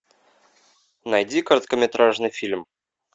найди короткометражный фильм